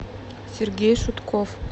сергей шутков